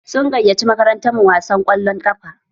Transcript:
Sun gayyaci makarantar mu wasan ƙwallon ƙafa.